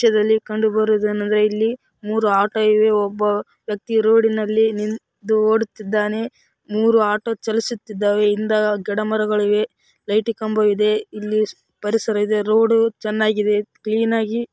ಈ ತ್ಯದಲ್ಲಿ ಕಂಡು ಬರುವುದು ಏನೆಂದರೆ ಇಲ್ಲಿ ಮೂರು ಆಟೋ ಇವೆ ಒಬ್ಬ ವ್ಯಕ್ತಿಯು ರೋಡಿನಲ್ಲಿ ನಿಂತು ಓಡುತ್ತಿದ್ದಾನೆ ಮೂರು ಆಟೋ ಚಲಿಸುತ್ತಿದ್ದಾವೆ ಗಡಮರಗಳು ಇವೆ ಲೈಟ್‌ ಕಂಬಗಳು ಇವೆ ಇಲ್ಲಿ ಪರಿಸರ ಇದೆ ರೋಡ್‌ ಚೆನ್ನಾಗಿ ಇದೆ ಕ್ಲೀನಾಗಿ --